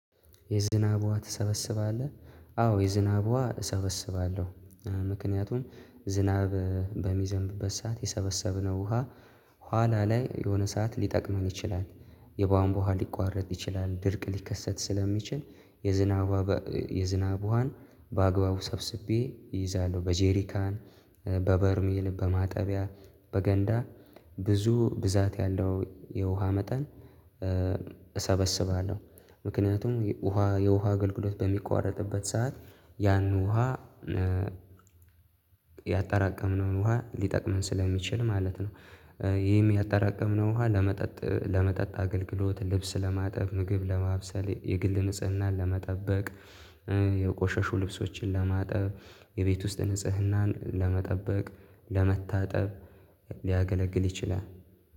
የዝናብ ውሃ ትሰበስባለህ? አዎ የዝብ ውሃ እሰበስባለሁ ምክንያቱም ዝናብ በሚዘንብበት ሰዓት የሰበሰብነው ውሃ ኋላ ላይ የሆነ ሰዓት ሊጠቅመን ይችላል። የባንቧ ውሃ ሊቋረጥ ይችላል ድርቅ ሊከሰት ስለሚችል የዝናቧ የዝናቧን በአግባቡ ሰብስቤ ይይዛለሁ። በጄሪካን በበርሜል በማጠቢያ በገንዳ ብዙ ብዛት ያለው የውሃ መጠን። እሰበስባለሁ ምክንያቱም የውሃ የውሃ አገልግሎት በሚቋረጥበት ሰዓት ያን ውሃ ያጠራቀምነውን ውሃ ሊጠቅምን ስለሚችል ማለት ነው። ይህም ያጠራቀምነው ውሃ ለመጠጥ ለመጠጥ አገልግሎት ልብስ ለማጠብ ምግብ ለማብሰል የግል ንጽህናን ለመጠበቅ የቆሸሹ ልብሶችን ለማጠብ የቤት ውስጥ ንጽህናን ለመጠበቅ ለመታጠብ ሊያገለግል ይችላል።